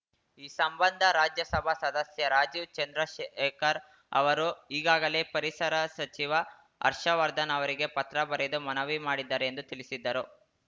ಈ ಸಂಬಂಧ ರಾಜ್ಯಸಭಾ ಸದಸ್ಯ ರಾಜೀವ್‌ ಚಂದ್ರಶೇಖರ್‌ ಅವರು ಈಗಾಗಲೇ ಪರಿಸರ ಸಚಿವ ಹರ್ಷವರ್ಧನ್‌ ಅವರಿಗೆ ಪತ್ರ ಬರೆದು ಮನವಿ ಮಾಡಿದ್ದಾರೆ ಎಂದು ತಿಳಿಸಿದ್ದರು